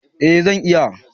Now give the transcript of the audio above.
Eh zan iya